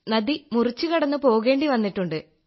നദി മുറിച്ചു കടന്നു പോകേണ്ടി വന്നിട്ടുണ്ട്